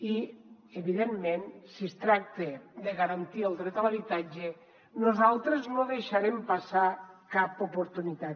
i evidentment si es tracta de garantir el dret a l’habitatge nosaltres no deixarem passar cap oportunitat